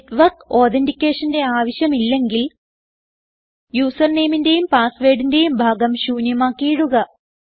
network authenticationന്റെ ആവശ്യമില്ലെങ്കിൽ Usernameന്റേയും passwordന്റേയും ഭാഗം ശൂന്യമാക്കി ഇടുക